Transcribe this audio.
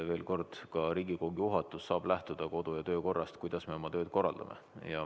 Veel kord: Riigikogu juhatus saab lähtuda kodu‑ ja töökorrast, kuidas me oma tööd korraldame.